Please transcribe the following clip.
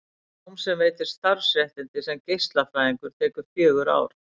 Nám sem veitir starfsréttindi sem geislafræðingur tekur fjögur ár.